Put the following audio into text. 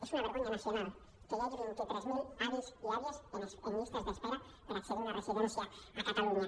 és una vergonya nacio·nal que hi hagi vint tres mil avis i àvies en llistes d’espera per accedir a una residència a catalunya